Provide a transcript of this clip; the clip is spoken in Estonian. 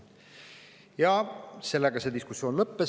Ja sellega diskussioon lõppes.